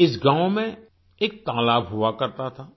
इस गाँव में एक तालाब हुआ करता था